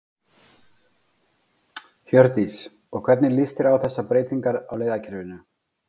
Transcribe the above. Hjördís: Og hvernig líst þér á þessar breytingar á leiðakerfinu?